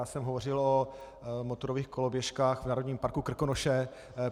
Já jsem hovořil o motorových koloběžkách v Národním parku Krkonoše.